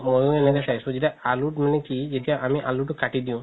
মইও এনেকা চাইছো যেতিয়া আলুত মানে কি যেতিয়া আমি আলুতো কাতি দিও